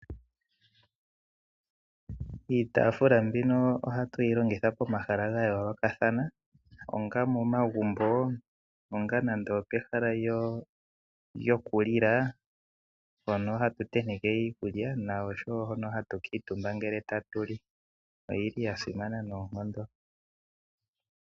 Iitafula mbino ohatu yi longitha pomahala ga yoolokathana, onga momagumbo, onga nando opehala lyokulila mpono hatu tenteke iikulya na oshowo hono hatu kuutumba ngele tatu li. Oyili ya simana noonkondo.